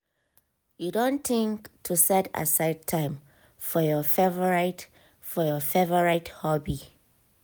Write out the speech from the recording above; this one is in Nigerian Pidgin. you don think to set aside time for your favorite for your favorite hobby?